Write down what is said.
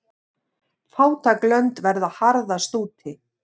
Fátæk lönd verða harðast úti.